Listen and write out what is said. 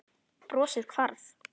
Brosið hvarf.